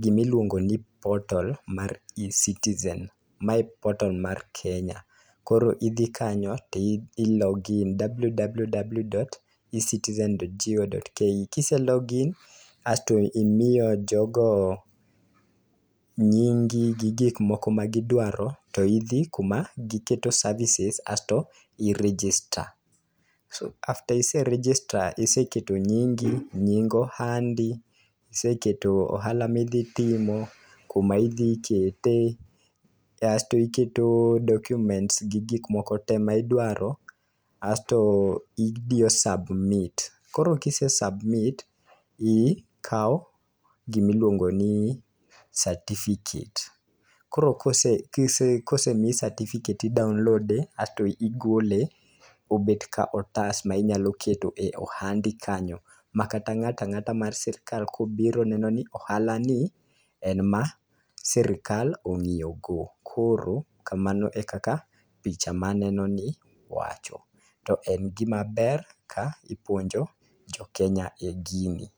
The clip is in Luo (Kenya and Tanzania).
gima iluongo ni cs]portal mar Ecitizen - mae portal mar Kenya. Koro idhi kanyo to i log in www.ecitizen.go.ke. Kise log in aeto imiyo jogo nyingi, gi gik moko ma gidwaro, to idhi kuma giketo services asto i register. After ise register iseketo nyingi, nying ohandi, iseketo ohala ma idhi timo, kuma idhi kete, asto iketo documents gi gik moko te midwaro, asto idiyo submit. Koro kise submit ikao gima iluongo ni certificate. Koro kosemiyi certificate[c]s i download e asto igole obet ka otas ma inyalo keto e ohandi kanyo. Ma kata ng'atang'ata ma sirkal kobiro neno ni ohala ni, en ma sirkal ong'iyo go. Koro kamano e kaka picha maneno ni wacho. To en gimaber ka ipuonjo jokenya e gini.